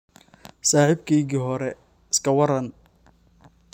Saaxiibkeygii hore, iska waran?